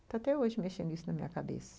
Está até hoje mexendo isso na minha cabeça.